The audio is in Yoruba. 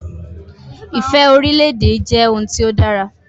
Ifẹ̀ orílè-èdè jẹ́ ohun tí ó dára